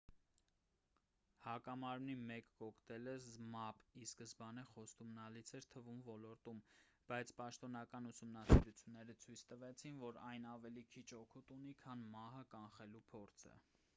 հակամարմնի մեկ կոկտեյլը զմապ ի սկզբանե խոստումնալից էր թվում ոլորտում բայց պաշտոնական ուսումնասիրությունները ցույց տվեցին որ այն ավելի քիչ օգուտ ունի քան մահը կանխելու փորձը